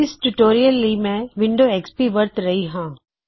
ਇਸ ਟਿਊਟੋਰਿਅਲ ਲਈ ਮੈਂ ਵਿਨਡੋ ਐਕਸ ਪੀ ਵਰਤ ਰੇਹਾਂ ਹਾਂ